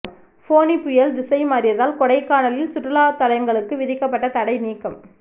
ஃபோனி புயல் திசை மாறியதால் கொடைக்கானலில் சுற்றுலா தலங்களுக்கு விதிக்கப்பட்ட தடை நீக்கம்